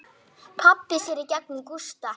Pabbi sér í gegnum Gústa.